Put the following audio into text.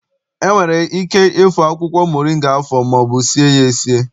E nwere ike ịfọ akwụkwọ moringa afọ maọbụ sie ya esi.